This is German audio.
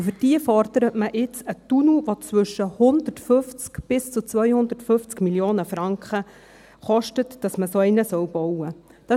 Und für diese fordert man nun einen Tunnel, der 150 bis 250 Mio. Franken kostet … dass man so einen bauen soll.